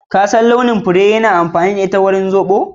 Ko ka san launin furen barekata da ake amfani da ita wajen yin zobo?